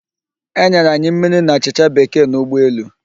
E nyere anyi mmiri na achịchạ Bekee n'ụgbọ elu.